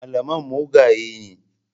Malaman mugaye ne.